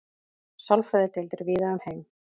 sálfræðideildir víða um heim